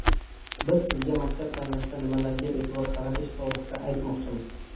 Biz sizga maktab tanlashda nimalarga e’tibor qaratish to‘g‘risida aytmoqchimiz.